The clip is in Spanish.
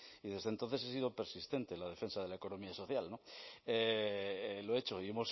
y desde entonces he sido persistente en la defensa de la economía social lo he hecho y